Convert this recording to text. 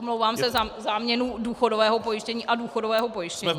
Omlouvám se za záměnu důchodového pojištění a důchodového pojištění.